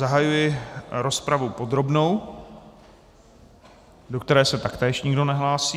Zahajuji rozpravu podrobnou, do které se taktéž nikdo nehlásí.